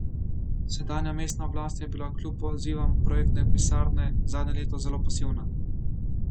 Sedanja mestna oblast je bila kljub pozivom projektne pisarne zadnje leto zelo pasivna.